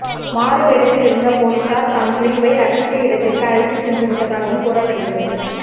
மாறுவேடத்தில் இருந்த போலீசார் தான் பினுவை ரகசிய இடத்திற்கு அழைத்து சென்று விட்டதாகவும் கூறப்படுகிறது